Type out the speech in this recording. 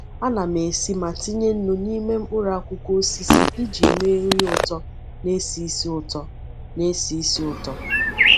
Ana m esi ma tinye nnu n’ime mkpụrụ akwukwo osisi iji mee nri ụtọ na-esi ísì ụtọ. na-esi ísì ụtọ.